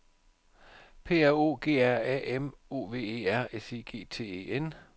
P R O G R A M O V E R S I G T E N